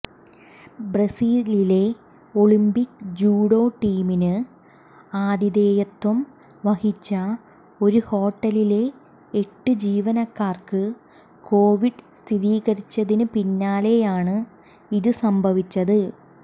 ബ്രസീലിലെ Olympic judo ടീമിന് ആതിഥേയത്വം വഹിച്ച ഒരു ഹോട്ടലിലെ എട്ട് ജീവനക്കാര്ക്ക് കൊവിഡ് സ്ഥിരീകരിച്ചതിന് പിന്നാലെയാണ് ഇത് സംഭവിച്ചത്